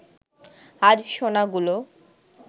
আজ সোনাগুলো